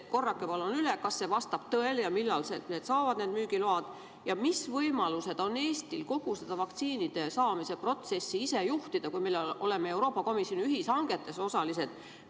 Korrake palun üle, kas see vastab tõele, millal need vaktsiinid saavad müügiloa ja mis võimalused on Eestil kogu seda vaktsiinide saamise protsessi ise juhtida, kui me oleme Euroopa Komisjoni ühishangetes osalised?